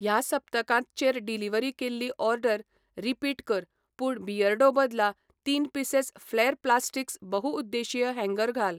ह्या सप्तकांत चेर डिलिव्हरी केल्ली ऑर्डर रिपीट कर पूण बियर्डो बदला तीन पिसेस फ्लॅर प्लास्टिक्स बहुउद्देशीय हॅंगर घाल.